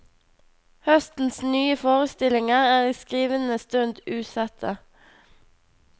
Høstens nye forestillinger er i skrivende stund usette.